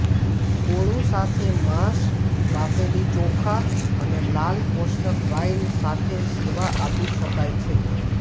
કોળું સાથે માંસ બાફેલી ચોખા અને લાલ કોષ્ટક વાઇન સાથે સેવા આપી શકાય છે